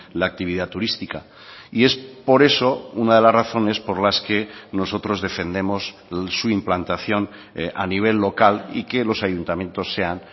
la actividad turística y es por eso una de las razones por las que nosotros defendemos su implantación a nivel local y que los ayuntamientos sean